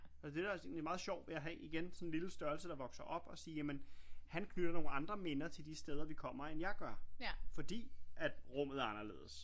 Og det er da egentlig også meget sjovt jeg har igen sådan en lille størrelse der vokser op og sige jamen han knytter nogle andre minder til de steder vi kommer end jeg gør fordi at rummet er anderledes